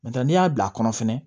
N'o tɛ n'i y'a bila a kɔnɔ fɛnɛ